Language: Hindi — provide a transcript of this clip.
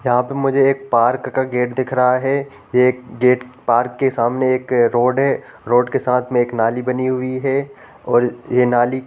यहाँ पर मुझे एक पार्क का गेट दिख रहा है। एक गेट पार्क के सामने एक रोड है। रोड के साथ में एक नाली बनी हुई है और ये नाली --